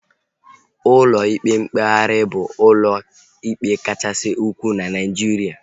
Ụlọ ikpe mkpegharị bụ ụlọ ikpe kachasị ukwuu na Naijiria